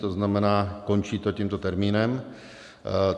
To znamená, končí to tímto termínem.